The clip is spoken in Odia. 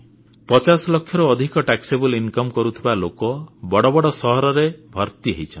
ପଚାଶ ଲକ୍ଷରୁ ଅଧିକ କରଯୋଗ୍ୟ ଆୟ କରୁଥିବା ଲୋକ ବଡ଼ ବଡ଼ ସହରରେ ଭର୍ତ୍ତି ହେଇଛନ୍ତି